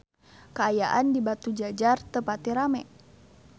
Kaayaan di Batujajar teu pati rame